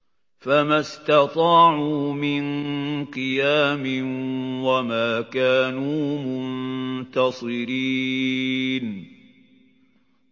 فَمَا اسْتَطَاعُوا مِن قِيَامٍ وَمَا كَانُوا مُنتَصِرِينَ